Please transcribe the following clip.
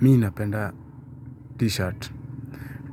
Mi napenda t-shirt.